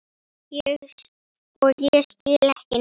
Og ég skil ekki neitt.